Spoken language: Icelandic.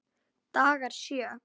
Dagar sjö